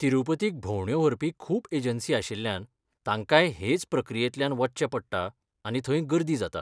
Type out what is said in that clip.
तिरूपतीक भोंवड्यो व्हरपी खूब एजंसी आशिल्ल्यान, तांकांय हेच प्रक्रियेंतल्यान वचचें पडटा, आनी थंय गर्दी जाता.